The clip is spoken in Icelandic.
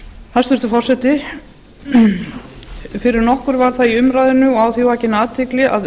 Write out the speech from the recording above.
hæstvirtur forseti fyrir nokkru var það í umræðunni og á því vakin athygli að